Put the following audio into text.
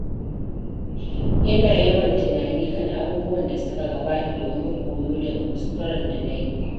Ina yawan tunani kan abubuwan da suka gabata domin koyo daga kuskuren da na yi.